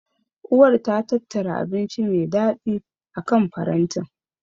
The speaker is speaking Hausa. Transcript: Uwar ta tattara abinci me daɗi akan farantin.